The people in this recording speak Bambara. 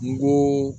N ko